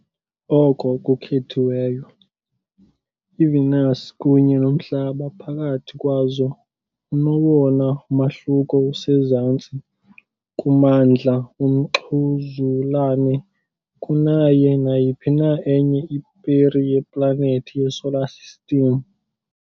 Oko kuthethiweyo, iVenus kunye noMhlaba phakathi kwazo unowona mahluko usezantsi kumandla womxhuzulane kunayo nayiphi na enye iperi yeplanethi yeSolar System.